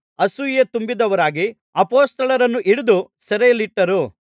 ಅಸೂಯೆ ತುಂಬಿದವರಾಗಿ ಅಪೊಸ್ತಲರನ್ನು ಹಿಡಿದು ಸೆರೆಯಲ್ಲಿಟ್ಟರು